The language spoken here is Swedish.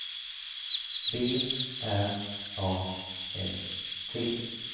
B R A S T